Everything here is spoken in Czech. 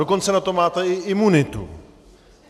Dokonce na to máte i imunitu.